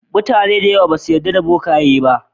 Mutane da yawa basu yarda da bokaye ba.